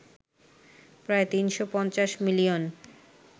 প্রায় ৩৫০ মিলিয়ন